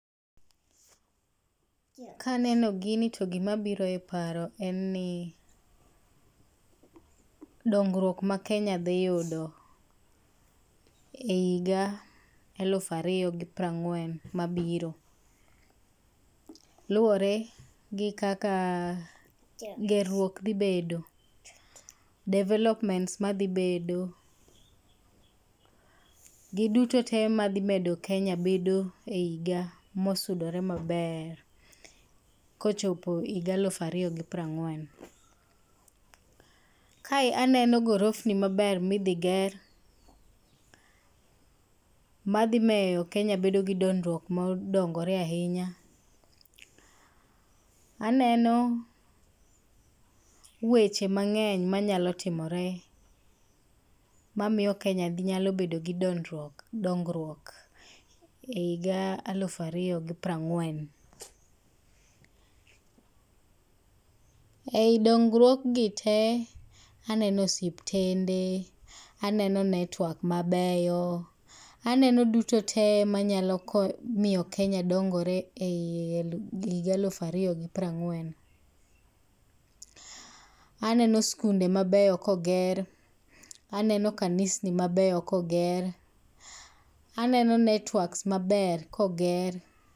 Kaneno gini to gimabiro e paro en ni, dongruok maKenya dhiyudo e higa eluf ariyo gi pira ng'uen mabiro. Luore gi kaka ger ruok dhi bedo, developments madhibedo. Gi duto te madhi medo Kenya bedo e higa mosudore maber kochopo higa eluf ariyo gipira ng'uen. Kae aneno gorofni maber midhiger, madhimeyo Kenya bedogi dongruok mondogore ahinya. Aneno weche mang'eny manyalo timore mamiyo Kenya nyalo bedo gi dondruok dongruok e higa eluf ariyo gi pir ang'uen. Ei dongruokgi te, aneno osiptende, aneno network mabeyo, aneno duto te manyalo miyo Kenya dongore ei higa eluf ariyo gi pira ng'uen. Aneno skunde mabeyo koger, aneno kanisni mabeyo koger, aneno networks maber koger.